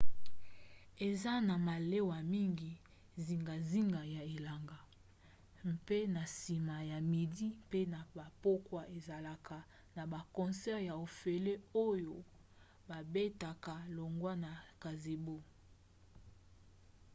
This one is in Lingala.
eza na malewa mingi zingazinga ya elanga mpe na nsima ya midi mpe na bapokwa ezalaka na baconcert ya ofele oyo babetaka longwa na gazebo